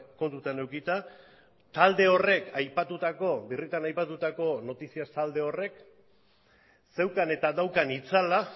kontutan edukita talde horrek aipatutako birritan aipatutako noticias talde horrek zeukan eta daukan itzala